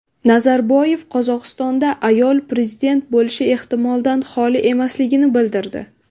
Nazarboyev Qozog‘istonda ayol prezident bo‘lishi ehtimoldan xoli emasligini bildirdi.